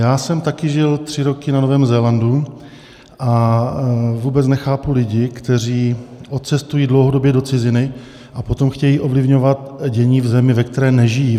Já jsem taky žil tři roky na Novém Zélandu a vůbec nechápu lidi, kteří odcestují dlouhodobě do ciziny a potom chtějí ovlivňovat dění v zemi, ve které nežijí.